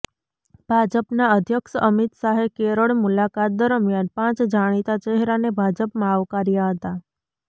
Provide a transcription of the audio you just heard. ભાજપના અધ્યક્ષ અમિત શાહે કેરળ મુલાકાત દરમિયાન પાંચ જાણીતા ચહેરાને ભાજપમાં આવકાર્યા હતા